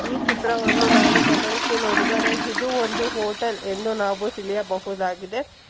ಈ ಚಿತ್ರವನ್ನು ನಾವು ಗಮನಿಸಿ ನೋಡಿದರೆ ಇದು ಒಂದು ಹೋಟೆಲ್ ಎಂದು ನಾವು ತಿಳಿಯಬಹುದಾಗಿದೆ.